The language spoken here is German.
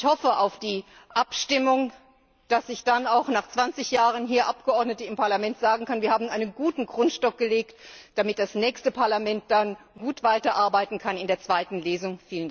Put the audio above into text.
Ich hoffe auf die Abstimmung, dass ich dann nach 20Jahren hier als Abgeordnete im Parlament sagen kann Wir haben einen guten Grundstock gelegt, damit das nächste Parlament dann gut weiterarbeiten kann in der zweiten Lesung.